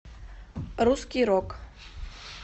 русский рок